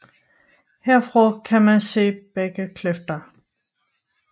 Herfra kan man se begge kløfter